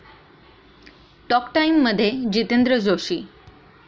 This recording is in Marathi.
टॉक टाइम'मध्ये जितेंद्र जोशी